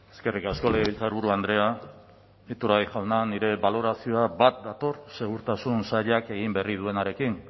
eskerrik asko legebiltzarburu andrea iturgaiz jauna nire balorazioa bat dator segurtasun sailak egin berri duenarekin